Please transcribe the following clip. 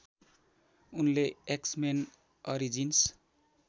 उनले X Men Origins